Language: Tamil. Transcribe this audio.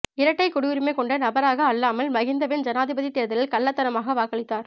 இரட்டை குடியுரிமை கொண்ட நபராக அல்லாமல் மஹிந்தவின் ஜனாதிபதி தேர்தலில் கள்ளத்தனமாக வாக்களித்தார்